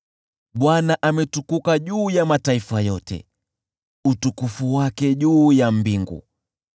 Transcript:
Bwana ametukuka juu ya mataifa yote, utukufu wake juu ya mbingu.